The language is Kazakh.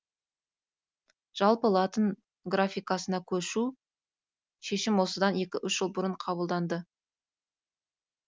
жалпы латын графикасына көшу шешім осыдан екі үш жыл бұрын қабылданды